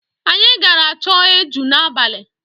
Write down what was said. Anyị gara chọọ eju n'abalị.